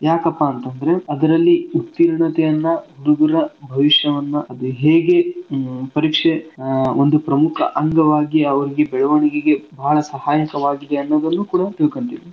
ಯಾಕಪಾ ಅಂತಂದ್ರೆ ಅದ್ರಲ್ಲಿ ಉತ್ತೀರ್ಣತೆಯನ್ನ ಹುಡ್ಗೂರ ಭವಿಷ್ಯವನ್ನ ಅದ್ ಹೇಗೆ ಆಹ್ ಪರೀಕ್ಷೆ ಒಂದು ಪ್ರಮುಖ ಅಂಗವಾಗಿ ಅವರ್ಗೆ ಬೆಳವಣಿಗೆಗೆ ಭಾಳ ಸಹಾಯಕವಾಗಿದೆ ಅನ್ನೋದನ್ನೂ ಕೂಡ ತಿಳ್ಕಂತೀವಿ.